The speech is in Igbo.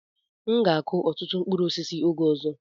M ga akụ ọtụtụ mkpụrụ osisi oge ọzọ.